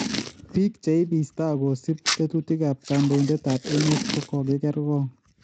Biik cheibiista kosib tetutiikab kondoindetaab emet ko kokiker koong�